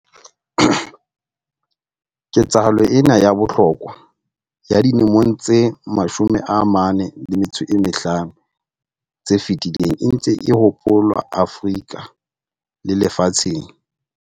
Ketsahalo ena ya bohlokwa ya dilemong tse 45 tse fetileng e ntse e hopolwa Afrika le lefatsheng.